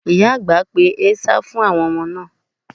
Ìyà àgbà pe ẹ̀sà fún àwọn ọmọ náà.